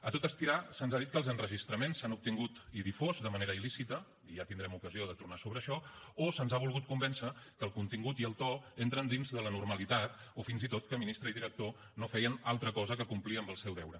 a tot estirar se’ns ha dit que els enregistraments s’han obtingut i difós de manera il·lícita i ja tindrem ocasió de tornar sobre això o se’ns ha volgut convèncer que el contingut i el to entren dins de la normalitat o fins i tot que ministre i director no feien altra cosa que complir amb el seu deure